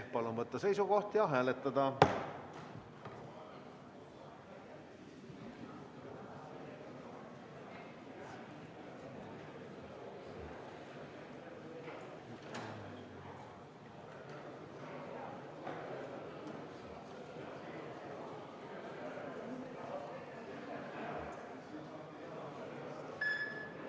Palun võtta seisukoht ja hääletada!